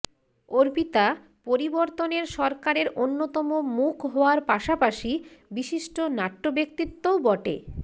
অর্পিতা পরিবর্তনের সরকারের অন্যতম মুখ হওয়ার পাশাপাশি বিশিষ্ট নাট্যব্যক্তিত্বও বটে